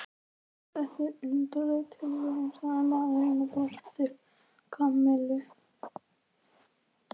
Þetta er undarleg tilviljun sagði maðurinn og brosti til Kamillu.